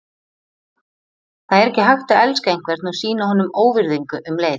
Það er ekki hægt að elska einhvern og sýna honum óvirðingu um leið.